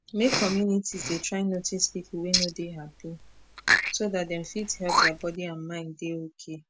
make communities dey try notice people wey no dey happy so dat dem fit help their body and mind dey okay